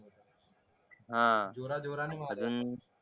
अजून हा